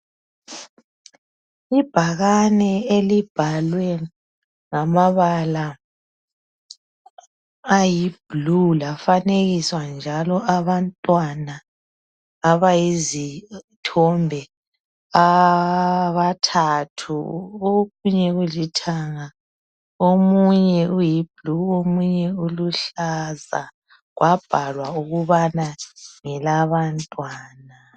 Ibhakane elibhalwe ngamabala ayi blue lafanekiswa njalo abantwana abayizithombe abathathu okunye kulithanga omunye uyiblue omunye uluhlaza kwabhalwa ukuthi ngelabantwana.